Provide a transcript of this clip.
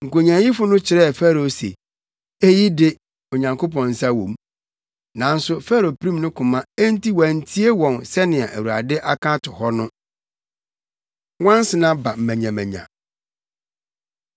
Nkonyaayifo no kyerɛɛ Farao se, “Eyi de Onyankopɔn nsa wɔ mu.” Nanso Farao pirim ne koma enti wantie wɔn sɛnea Awurade aka ato hɔ no. Nwansena Ba Manyamanya